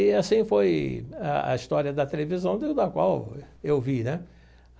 E assim foi a a história da televisão da qual eu vi né.